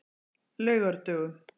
laugardögum